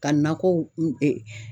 Ka nakɔw